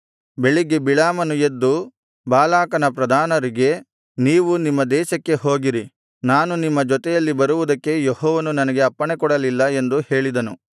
ಬೆಳಿಗ್ಗೆ ಬಿಳಾಮನು ಎದ್ದು ಬಾಲಾಕನ ಪ್ರಧಾನರಿಗೆ ನೀವು ನಿಮ್ಮ ದೇಶಕ್ಕೆ ಹೋಗಿರಿ ನಾನು ನಿಮ್ಮ ಜೊತೆಯಲ್ಲಿ ಬರುವುದಕ್ಕೆ ಯೆಹೋವನು ನನಗೆ ಅಪ್ಪಣೆಕೊಡಲಿಲ್ಲ ಎಂದು ಹೇಳಿದನು